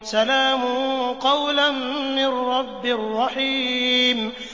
سَلَامٌ قَوْلًا مِّن رَّبٍّ رَّحِيمٍ